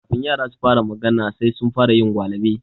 Kafin yara su fara magana, sai sun fara yin gwalaɓe.